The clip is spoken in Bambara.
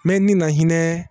Mɛ ni na hinɛ